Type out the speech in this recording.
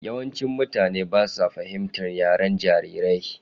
Yawancin mutane ba sa fahimtar yaren jarirai.